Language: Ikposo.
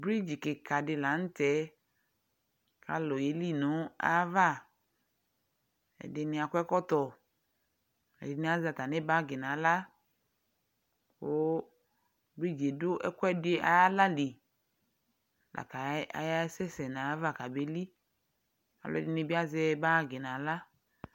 Bridzi kɩkadɩ la nʋtɛ k'alʋ yeli n'ayava : ɛdɩnɩ akɔ ɛkɔtɔ , ɛdɩnɩ azɛ atamɩ bagɩ n'aɣla , kʋbridziɛ dʋ ɛkʋɛdɩ ay'aɣla li : laka ayasɛ sɛ n'ayava k'abeli Ɔlʋɛdɩnoɩ bɩ azɛ bagɩ n'aɣla